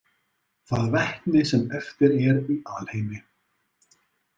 Það vetni sem eftir er í alheimi.